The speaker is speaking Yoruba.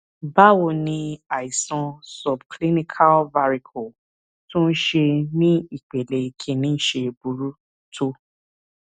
báwo ni àìsàn subclinical varicoele tó ń ṣe ní ìpele kinni ṣe burú tó